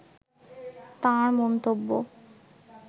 তাঁর মন্তব্য